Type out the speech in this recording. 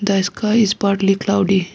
the sky is partly cloudy.